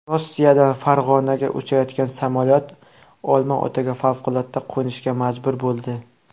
Rossiyadan Farg‘onaga uchayotgan samolyot Olmaotaga favqulodda qo‘nishga majbur bo‘ldi.